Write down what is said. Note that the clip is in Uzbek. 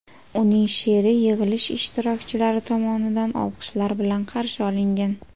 Uning she’ri yig‘ilish ishtirokchilari tomonidan olqishlar bilan qarshi olingan.